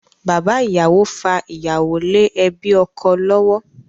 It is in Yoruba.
Bàbá ìyàwó fa ìyàwó lé ẹbí ọkọ lọ́wọ́.